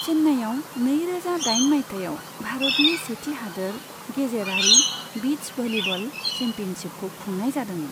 चेन्नाईआव नैरोजा दाइन मायथाइयाव भारतनि सेथि हादोर गेजेरारि बीच भलीबल चैम्पियनशिपखौ खुंनाय जादोंमोन।